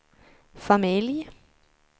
familj